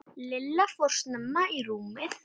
Lilla fór snemma í rúmið.